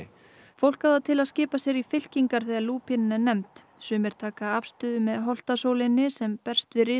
fólk á það til að skipa sér í fylkingar þegar lúpínan er nefnd sumir taka afstöðu með holtasóleynni sem berst við